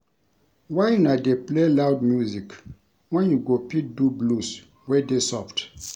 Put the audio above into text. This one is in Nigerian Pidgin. Why una dey play loud music wen you go fit do blues wey dey soft